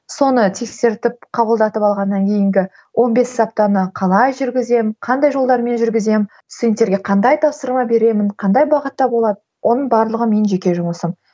соны тексертіп қабылдатып алғаннан кейінгі он бес аптаны қалай жүргіземін қандай жолдармен жүргіземін студенттерге қандай тапсырма беремін қандай бағытта болады оның барлығы менің жеке жұмысым